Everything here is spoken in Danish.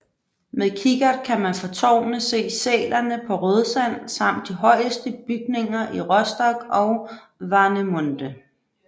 Med kikkert kan man fra tårnet se sælerne på Rødsand samt de højeste bygninger i Rostock og Warnemünde